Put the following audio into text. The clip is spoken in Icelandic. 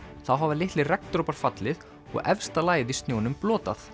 þá hafa litlir regndropar fallið og efsta lagið í snjónum